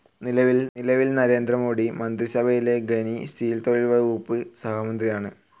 നിലവിൽ നരേന്ദ്ര മോഡി മന്ത്രിസഭയിലെ ഖനി, സ്റ്റീൽ തൊഴിൽ വകുപ്പ് സഹമന്ത്രിയാണ്.